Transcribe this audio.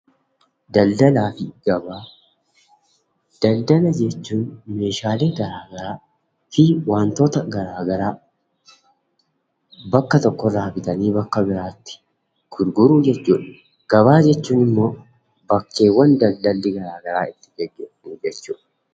Daldalaa fi Gabaa Daldala jechuun meeshaalee garaagaraa fi wantoota garaagaraa bakka tokkorraa bitanii bakka biraatti gurguruu jechuu dha. Gabaa jechuun immoo bakkeewwan daldalli garaagaraa itti geggeeffamu jechuu dha.